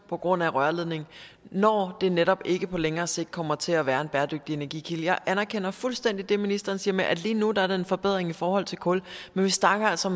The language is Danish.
på grund af rørledningen når det netop ikke på længere sigt kommer til at være en bæredygtig energikilde jeg anerkender fuldstændig det ministeren siger med at det lige nu er en forbedring i forhold til kul men vi snakker altså